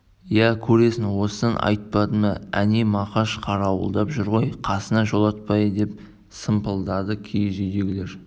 иә көресің осыдан айтпады ма әне мақаш қарауылдап жүр ғой қасына жолатпайды деп сампылдады киіз үйдегілер